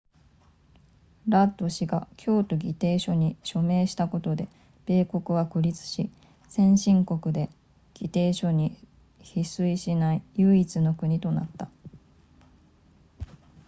ラッド氏が京都議定書に署名したことで米国は孤立し先進国で議定書に批准しない唯一の国となった